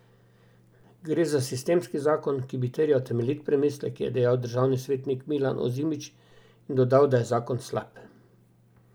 Gre za sistemski zakon, ki bi terjal temeljit premislek, je dejal državni svetnik Milan Ozimič in dodal, da je zakon slab.